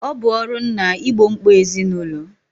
Ọ bụ ọrụ nna igbo mkpa ezinụlọ